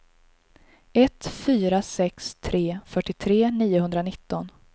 ett fyra sex tre fyrtiotre niohundranitton